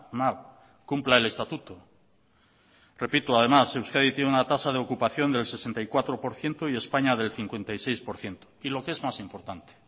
mal cumpla el estatuto repito además euskadi tiene una tasa de ocupación del sesenta y cuatro por ciento y españa del cincuenta y seis por ciento y lo que es más importante